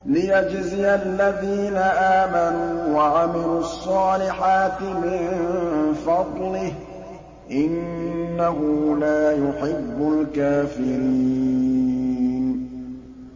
لِيَجْزِيَ الَّذِينَ آمَنُوا وَعَمِلُوا الصَّالِحَاتِ مِن فَضْلِهِ ۚ إِنَّهُ لَا يُحِبُّ الْكَافِرِينَ